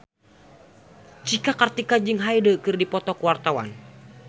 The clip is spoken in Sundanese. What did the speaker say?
Cika Kartika jeung Hyde keur dipoto ku wartawan